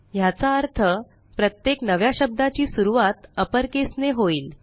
ह्याचा अर्थ प्रत्येक नव्या शब्दाची सुरूवात अपर केस ने होईल